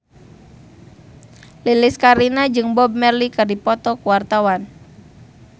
Lilis Karlina jeung Bob Marley keur dipoto ku wartawan